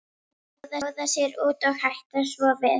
Láta bjóða sér út og hætta svo við.